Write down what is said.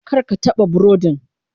Kar ka taɓa burodin.